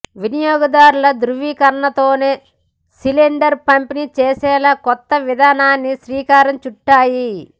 వినియోగదారుల ధ్రువీకరణతోనే సిలిండర్ పంపిణీ చేసేలా కొత్త విధానానికి శ్రీకారం చుట్టాయి